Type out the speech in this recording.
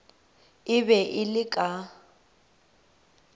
e be e le ka